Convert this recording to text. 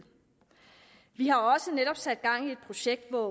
vi har også netop sat gang i et projekt hvor